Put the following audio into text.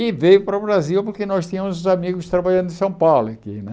E veio para o Brasil porque nós tínhamos os amigos trabalhando em São Paulo aqui, né?